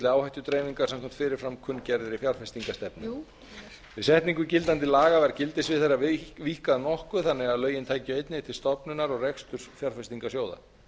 áhættudreifingar samkvæmt fyrir fram kunngerðri fjárfestingarstefnu við setningu gildandi laga var gildissvið þeirra víkkað nokkuð þannig að lögin tækju einnig til stofnunar og reksturs fjárfestingarsjóða